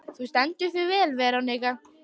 Þú stendur þig vel, Verónika!